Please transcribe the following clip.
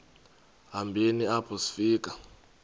hambeni apho sifika